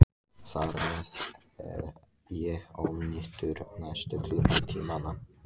Þar með er ég ónýtur næstu klukkutímana.